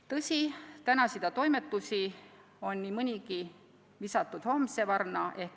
Tõsi, tänasida toimetusi on nii mõnelgi juhul visatud homse varna.